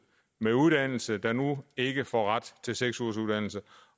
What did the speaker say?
med uddannelse der nu ikke får ret til seks ugers uddannelse